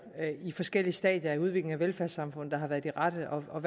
i forskellige stadier af udviklingen af velfærdssamfundet der har været de rette og